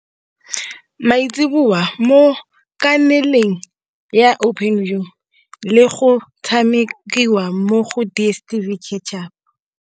Maitseboa mo kanaleng ya Openview le go tshamekiwa mo go DSTV Catch-Up.